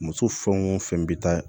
Muso fɛn o fɛn bɛ taa